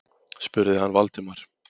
spurði hann Valdimar.